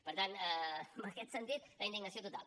per tant en aquest sentit la indignació total